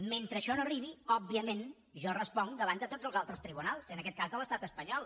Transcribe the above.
mentre això no arribi òbviament jo responc davant de tots els altres tribunals i en aquest cas de l’estat espanyol